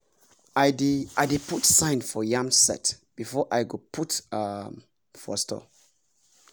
i dey i dey put sign for yam sett before i go put um m for store